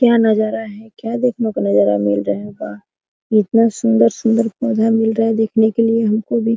क्या नजारा है क्या देखने को नजारा मिल रहा है वाह इतना सुंदर सुंदर पौधा मिल रहा है देखने के लिए हमको भी।